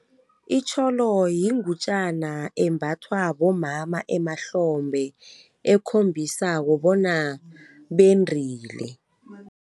Itjholo yingutjana embathwa bomama emahlophe ekhombisako bona bendrile.